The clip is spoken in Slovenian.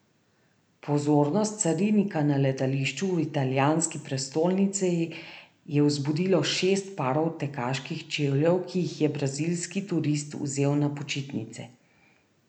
Pozornost carinika na letališču v italijanski prestolnici je vzbudilo šest parov tekaških čevljev, ki jih je brazilski turist vzel na počitnice.